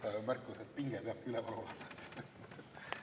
Lihtsalt märkus, et pinge peabki üleval olema.